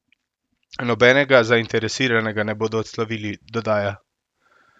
Nobenega zainteresiranega ne bodo odslovili, dodaja.